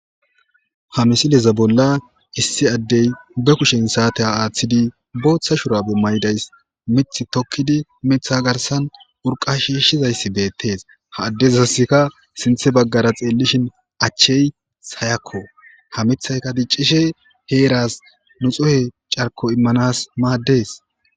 Ha misileza bolla issi addey be kushen saate aaththidi booththa shurabe maydays mith tokkidi mitha garsan urqa shiishshizayssi beettees ha addezasika sinthe baggara xeellishin achchey sayakko ha mithayka diccishe heeras nu xohe carko immanas maaddes